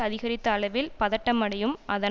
அதிகரித்த அளவில் பதட்டமடையும் அதன்